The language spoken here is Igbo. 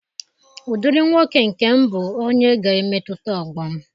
Ụdịrị nwoke nke m bụ onye ga-emetụta ọgbọ m.